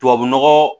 Tubabu nɔgɔ